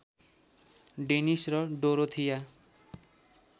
Danish र Dorothea